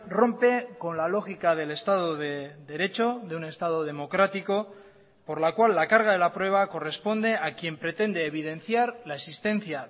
rompe con la lógica del estado de derecho de un estado democrático por la cual la carga de la prueba corresponde a quien pretende evidenciar la existencia